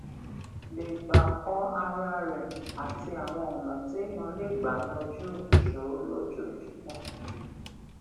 lè gbà kó ara rè àti àwọn ònà téèyàn lè gbà yanjú ìṣòro lójoojúmó